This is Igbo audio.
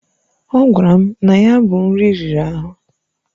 Ọ gwara m na ya bụ nri riri ahụ.